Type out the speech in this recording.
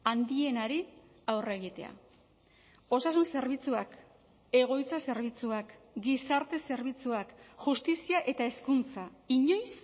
handienari aurre egitea osasun zerbitzuak egoitza zerbitzuak gizarte zerbitzuak justizia eta hezkuntza inoiz